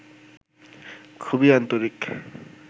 খুবই আন্তরিক